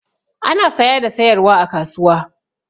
Ana saya da sayarwa a kasuwa.